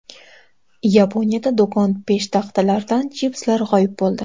Yaponiyada do‘kon peshtaxtalaridan chipslar g‘oyib bo‘ldi.